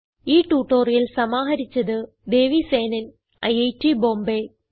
ഈ ട്യൂട്ടോറിയൽ സമാഹരിച്ചത് ദേവി സേനൻ ഐറ്റ് ബോംബേ